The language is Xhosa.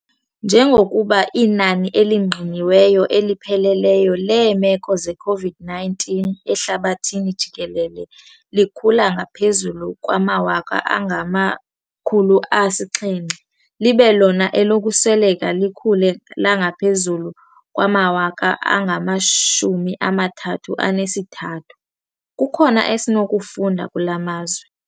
Njengokuba inani elingqiniweyo elipheleleyo leemeko ze-COVID-19 ehlabathini jikelele likhula ngaphezulu kwamawaka angama-700 libe lona elokusweleka likhule langaphezulu kwamawaka angama-33, kukhona esinokukufunda kula mazwe.